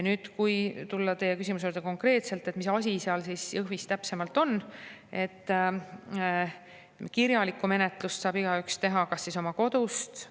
Nüüd, kui tulla konkreetselt teie küsimuse juurde, et mis asi seal Jõhvis täpsemalt, siis kirjalikku menetlust saab igaüks teha ka oma kodust.